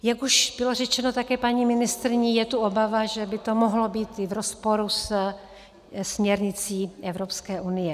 Jak už bylo řečeno také paní ministryní, je tu obava, že by to mohlo být i v rozporu se směrnicí Evropské unie.